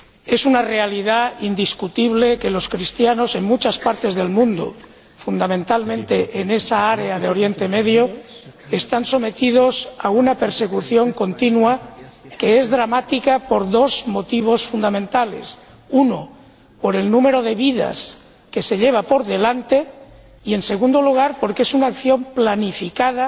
Es una realidad indiscutible que, en muchas partes del mundo, fundamentalmente en esa área de Oriente Próximo, los cristianos están sometidos a una persecución continua, que es dramática por dos motivos fundamentales en primer lugar, por el número de vidas que se lleva por delante y, en segundo lugar, porque es una acción planificada,